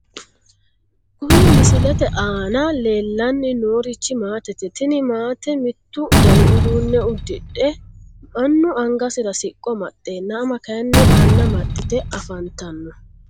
Kuni misilete aana leellanni noorichi maatete. tini maate mittu dani uduunne udidhe annu angasira siqqo amaxeenna ama kayiinni anna amaxite afantanno .